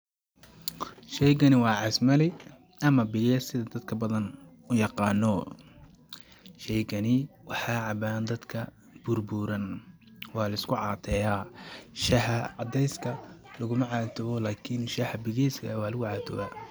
Sheygani waa casmali ama bigees sida dadka badan u yaqaano ,sheygani waxaa cabaan dadka burbuuran ,waa lisku cateyaa ,shaha cadeyska laguma catoowo lakini shaha bigeeska waa lagu catowaa.